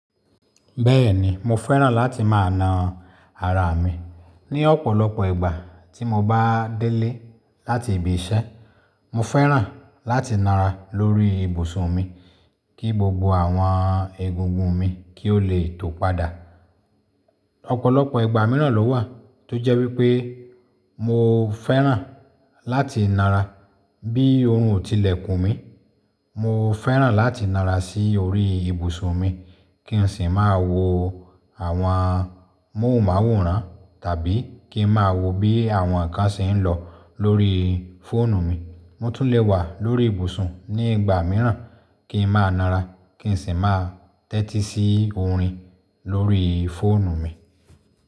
Bẹ́ẹ̀ni mo fẹ́ràn láti máa na ara mi. Ni ọ̀pọ̀lọpọ̀ ìgbà tí mo bá délé láti ibi iṣẹ́, mo fẹ́ràn láti nara lórí ibùsùn mi kí gbogbo àwọn egungun mi kí ó lè tó padà. Ọ̀pọ̀lọpọ̀ ìgbà míràn ló wà tó jẹ́ wípé mo fẹ́ràn láti nara bí oorun ò tilẹ̀ kùn mí. Mo fẹ́ràn láti nara sí orí ibùsùn mi kí n sì máa wo àwọn móhùnmáwòrán tàbí kí n máa wo bí àwọn ǹkan ṣe ń lọ lórí fóònù mi. Mo tún lè wà lórí ibùsùn ní ìgbà míràn kí n máa nara kí n sì máa tẹ́tí sí orin lórí fóònù mi.